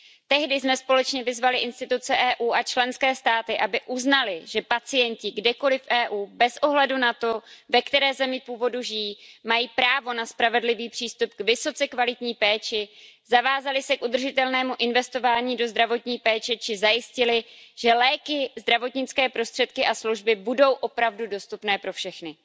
Tehdy jsme společně vyzvali instituce EU a členské státy, aby uznaly, že pacienti kdekoliv v EU, bez ohledu na to, ve které zemi původu žijí, mají právo na spravedlivý přístup k vysoce kvalitní péči, aby se zavázaly k udržitelnému investování do zdravotní péče či zajistily, že léky, zdravotnické prostředky a služby budou opravdu dostupné pro všechny.